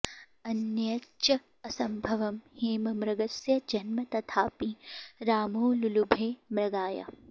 अन्यच्च असम्भवं हेममृगस्य जन्म तथापि रामो लुलुभे मृगाय